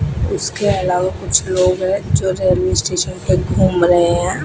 उसके अलावा कुछ लोग हैं जो रेलवे स्टेशन पे घूम रहे हैं।